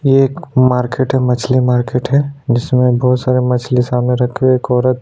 ये एक मार्किट है मछ्ली मार्किट है जिसमे बहुत सारी मछली सामने रखी हुई है एक औरत--